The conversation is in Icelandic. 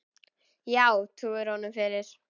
Já, trúir hún honum fyrir.